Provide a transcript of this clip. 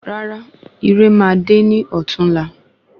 Rárá irè ma de ní ọtún la